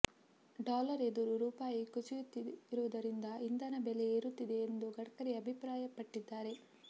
dollar ಎದುರು ರೂಪಾಯಿ ಕುಸಿಯುತ್ತಿರುವುದರಿಂದ ಇಂಧನ ಬೆಲೆ ಏರುತ್ತಿದೆ ಎಂದು ಗಡ್ಕರಿ ಅಭಿಪ್ರಾಯಪಟ್ಟಿದ್ದಾರೆ